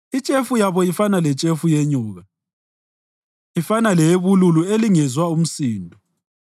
Itshefu yabo ifana letshefu yenyoka, ifana leyebululu elingezwa umsindo,